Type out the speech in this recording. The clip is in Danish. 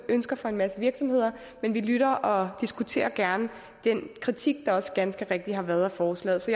ønsker fra en masse virksomheder men vi lytter og diskuterer gerne den kritik der også ganske rigtigt har været af forslaget så